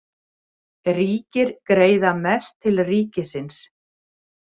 Ríkir greiða mest til ríkisins